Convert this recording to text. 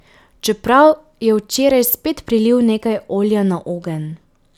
Čeprav je včeraj spet prilil nekaj olja na ogenj ...